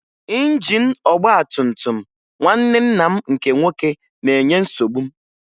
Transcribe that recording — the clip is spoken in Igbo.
Injin ọgbatumtum nwanne nna m nke nwoke na-enye nsogbu m